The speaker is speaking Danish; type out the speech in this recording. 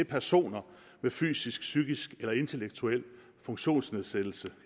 personer med fysisk psykisk eller intellektuel funktionsnedsættelse